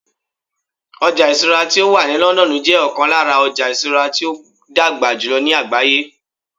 ọja isura ti o wa ni London jẹ okon lara ojo isura ti o dagba julọ ni àgbáyé